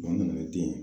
Ba nana ni den ye